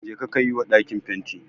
Jeka ka yi wa ɗakin fenti